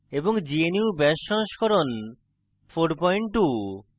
gnu bash সংস্করণ 42